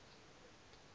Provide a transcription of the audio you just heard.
plae t o